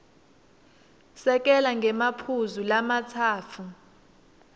sekela ngemaphuzu lamatsatfu